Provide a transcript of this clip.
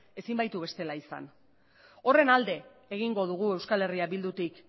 ezin baitu bestela izan horren alde egingo dugu euskal herria bildutik